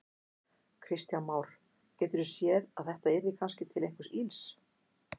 Kristján Már: Geturðu séð að þetta yrði kannski til einhvers ills?